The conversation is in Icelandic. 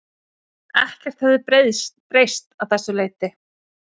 Ekkert hefði breyst að þessu leyti